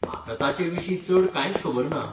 म्हाका ताचें विशीं चड कांयच खबर ना.